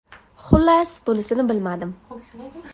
Xullas, bunisini bilmadim.